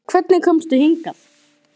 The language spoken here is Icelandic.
Hvernig komstu hingað?